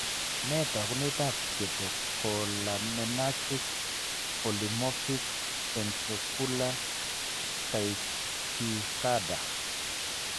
Nee taakunetaab catecholaminergic polymorphic ventricular tachycarda?